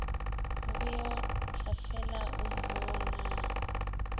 o beo tlafela o mmonaa